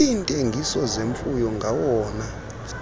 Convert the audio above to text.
iintengiso zemfuyo ngawona